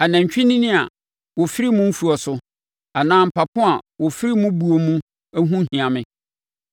Anantwinini a wɔfiri mo mfuo so anaa mpapo a wɔfiri mo buo mu ho nhia me,